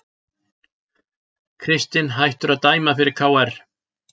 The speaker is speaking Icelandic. Kristinn hættur að dæma fyrir KR